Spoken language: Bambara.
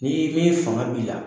N'i i bɛ fanga b'i la.